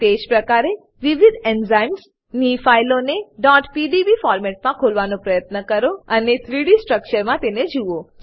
તેજ પ્રકારે વિવિધ એન્ઝાઇમ્સ ની ફાઈલોને pdb ફોરમેટમા ખોલવાનો પ્રયત્ન કરો અને 3ડી સ્ટ્રક્ચર મા તેને જુઓ